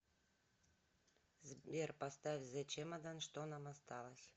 сбер поставь зе чемодан что нам осталось